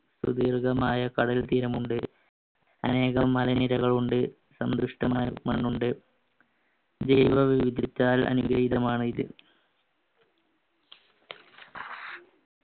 കടൽതീരം ഉണ്ട് അനേകം മലനിരകൾ ഉണ്ട് സന്ത്രഷ്ടമായ മണ്ണുണ്ട് ജീവ വിവിധത്താൽ അനുഗ്രഹീതമാണ് ഇത്